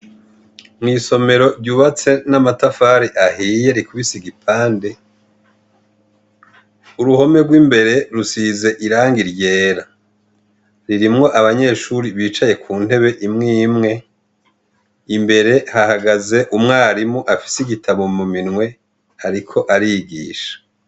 Mw'isomero ryubatse n'amatafari ahiye rikubise igipande uruhome rw'imbere rusize iranga iryera ririmwo abanyeshuri bicaye ku ntebe imwo imwe imbere hahagaze umwarimu afise igitabo mu minwe, ariko ario igisha.